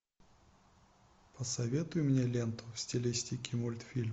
посоветуй мне ленту в стилистике мультфильм